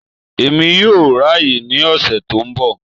Èmi yoo ráàyè ní ọ̀sẹ̀ tó ńbọ̀.